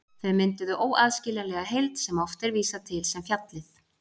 Þau mynduðu óaðskiljanlega heild sem oft er vísað til sem fjallið.